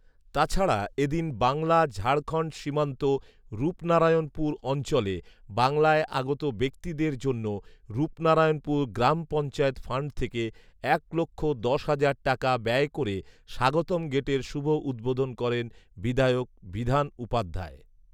তাছাড়া এদিন বাংলা ঝাড়খণ্ড সীমান্ত রূপনারায়ানপুর অঞ্চলে বাংলায় আগত ব্যাক্তিদের জন্য রূপনারায়ানপুর গ্রাম পঞ্চায়েত ফান্ড থেকে এক লক্ষ দশ হাজার টাকা ব্যয় করে স্বাগতম গেটের শুভ উদ্বোধন করেন বিধায়ক বিধান উপাধ্যায়